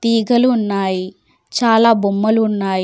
ఈకలు ఉన్నాయి చాలా బొమ్మలు ఉన్నాయ్.